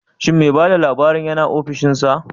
Shin me bada labarin yina offishinsa?